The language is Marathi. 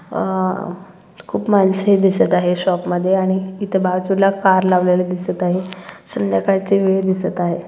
अह खूप माणसे दिसत आहे शॉप मध्ये आणि इथ बाजूला कार लावलेले दिसत आहे संध्याकाळची वेळ दिसत आहे.